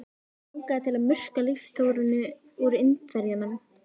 Hann langaði til að murka líftóruna úr Indverjanum.